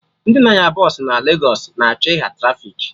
Ndị na-anya bọsụ na Legos na achọ ịgha trafiki